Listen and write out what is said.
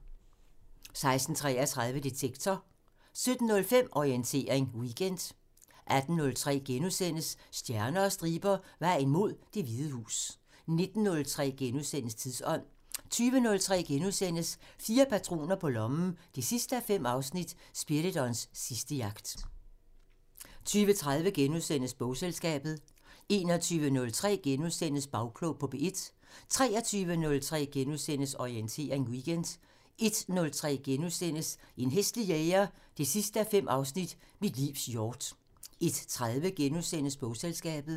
16:33: Detektor 17:05: Orientering Weekend 18:03: Stjerner og striber – Vejen mod Det Hvide Hus * 19:03: Tidsånd * 20:03: Fire patroner på lommen 5:5 – Spiridons sidste jagt * 20:30: Bogselskabet * 21:03: Bagklog på P1 * 23:03: Orientering Weekend * 01:03: En hæslig jæger 5:5 – Mit livs hjort * 01:30: Bogselskabet *